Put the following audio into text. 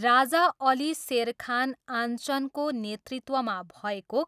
राजा अली सेर खान आञ्चनको नेतृत्वमा भएको